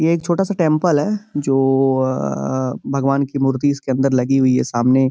ये एक छोटा सा टेंपल है जो भगवान की मूर्ति इसके अंदर लगी हुई है सामने।